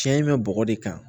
Tiɲɛ in bɛ bɔgɔ de kan